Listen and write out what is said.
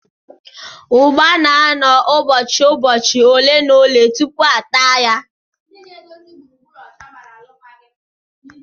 Ụgba na-anọ ụbọchị ụbọchi ole na ole tupu a taa ya